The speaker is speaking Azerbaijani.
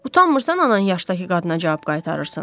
Utanmırsan anan yaşdakı qadına cavab qaytarırsan?